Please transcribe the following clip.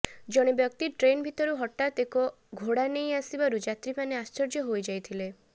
ଜଣେ ବ୍ୟକ୍ତି ଟ୍ରେନ୍ ଭିତରୁ ହଠାତ୍ ଏକ ଘୋଡ଼ା ନେଇ ଆସିବାରୁ ଯାତ୍ରୀମାନେ ଆଶ୍ଚର୍ଯ୍ୟ ହୋଇଯାଇଥିଲେ